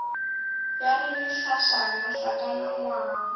ya re mehlašana hlakana ngwang